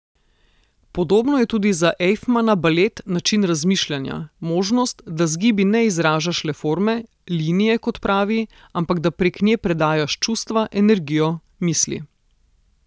Podobno je tudi za Ejfmana balet način razmišljanja, možnost, da z gibi ne izražaš le forme, linije, kot pravi, ampak da prek nje predajaš čustva, energijo, misli.